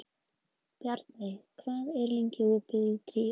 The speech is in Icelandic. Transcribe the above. Bjarnveig, hvað er lengi opið í Tríó?